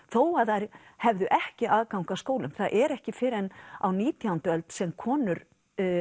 þó að þær hefðu ekki aðgang að skólum það er ekki fyrr en á nítjándu öld sem konur